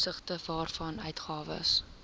opsigte waarvan uitgawes